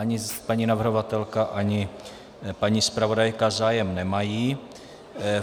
Ani paní navrhovatelka, ani paní zpravodajka zájem nemají.